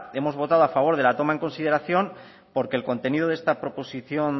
hemos votado a favor de la toma en consideración porque el contenido de esta proposición